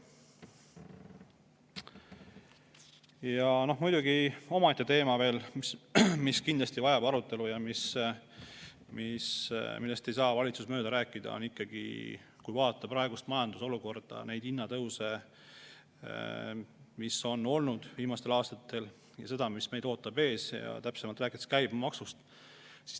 Ja muidugi omaette teema veel, mis kindlasti vajab arutelu ja millest ei saa valitsus mööda minna, on ikkagi praegune majandusolukord, need hinnatõusud, mis on olnud viimastel aastatel, ja see, mis meid ees ootab.